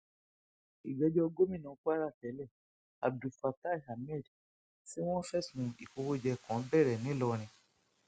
ìgbẹjọ gómìnà kwara tẹlẹ abdulfatai ahmed tí wọn fẹsùn ìkówóje kan bẹrẹ ńlọrọin